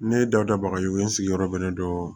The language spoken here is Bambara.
Ne dawuda bagayoye n sigiyɔrɔ bɛnnen dɔ